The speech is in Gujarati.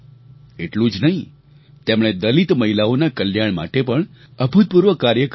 એટલું જ નહીં તેમણે દલિત મહિલાઓના કલ્યાણ માટે પણ અભૂતપૂર્વ કાર્ય કર્યા છે